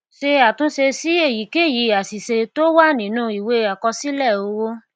ṣe àtúnṣe sí èyíkèyí àṣìṣe tó wà nínú ìwé àkọsílẹ owó